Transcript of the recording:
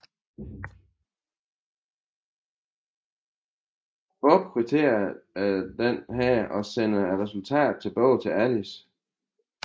Bob krypterer denne og sender resultatet tilbage til Alice